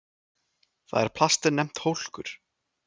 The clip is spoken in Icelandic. Þar er plastið nefnt hólkur.